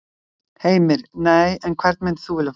Heimir: Nei, en hvern myndir þú vilja fá?